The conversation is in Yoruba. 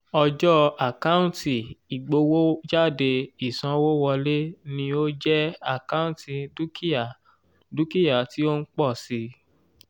ọjọ́ àkántì ìgbowójáde ìsanwówọlé ni ó jẹ́ àkántì dúkìá dúkìá tí ó ń pọ̀ sí i.